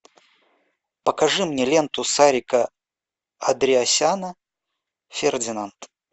покажи мне ленту сарика андреасяна фердинант